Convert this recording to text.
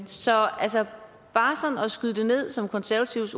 så bare at skyde det ned som den konservative